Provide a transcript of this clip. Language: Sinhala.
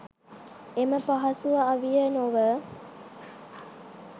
එම පහසු අවිය නොව